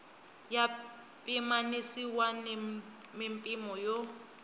ya pimanisiwa na mimpimo yo